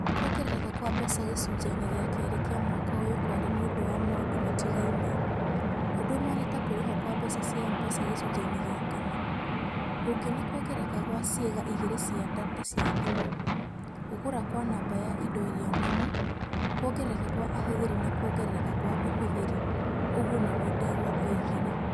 "Kwongerereka kwa mbeca gĩcunjĩ-inĩ gĩa kerĩ kĩa mwaka ũyũ kwarĩ niũndũ wa maũndũ matigainĩ. ũndu ũmwe nĩ ta kũrĩhwo kwa mbeca cia M-Pesa gĩcunjĩ-inĩ gĩa kana. ũngi nĩ kwongerereka gwa ciĩga igĩrĩ cia data cia thimu. Gũkũra kwa namba ya indo iria nũmu. Kwongerereka kwa ahũthĩri na kwongerereka kwa ũhũthĩri". Oguo nĩguo Ndegwa oigire.